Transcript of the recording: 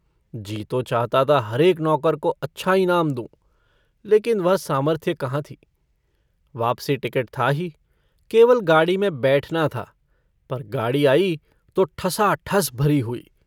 जी तो चाहता था, हरेक नौकर को अच्छा इनाम दूंँ ,लेकिन वह सामर्थ्य कहाँ थी। वापसी टिकट था ही। केवल गाड़ी में बैठना था। पर गाड़ी आई, तो ठसाठस भरी हुई।